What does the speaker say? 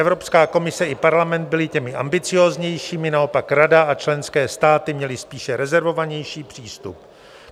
Evropská komise i parlament byly těmi ambicióznějšími, naopak Rada a členské státy měly spíše rezervovanější přístup.